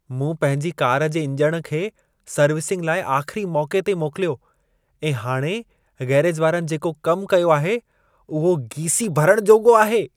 मूं पंहिंजी कार जे इंजण खे सर्विसिंग लाइ आख़िरी मौक़े ते मोकिलियो ऐं हाणे गैरेज वारनि जेको कमु कयो आहे, उहो गीसी भरण जोॻो आहे।